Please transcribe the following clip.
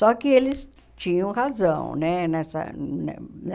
Só que eles tinham razão né nessa ne ne